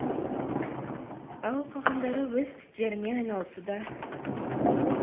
ал қалғандары өз істерімен айналысуда